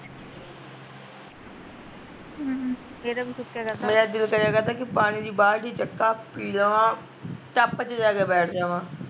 ਮੇਰਾ ਦਿਲ ਕਰਿਆ ਕਰਦਾ ਕੀ ਪਾਣੀ ਦੀ ਬਾਲਟੀ ਚੱਕਾ, ਪੀ ਲਵਾਂ ਟੱਪ ਚ ਜਾ ਕੇ ਬੈਠ ਜਵਾਂ